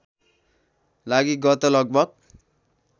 लागि गत लगभग